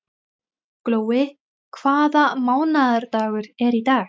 Glói, hvaða mánaðardagur er í dag?